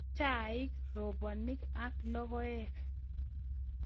Chaik, robonik ak logoek